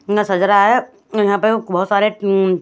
सज रहा है यहाँ पे बहत सरे --